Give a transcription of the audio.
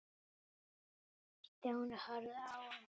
Stjáni horfði á hann.